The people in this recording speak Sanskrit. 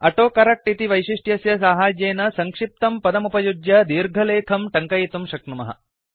अटो करक्ट इति वैशिष्ट्यस्य साहाय्येन सङ्क्षिप्तं पदमुपयुज्य दीर्घलेखम् टङ्कयितुं शक्नुमः